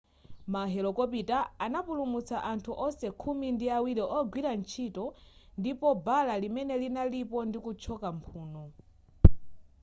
ma helokopitala anapulumutsa anthu onse khumi ndi awiri ogwira ntchito ndipo bala limene linalipo ndi kuthyoka mphuno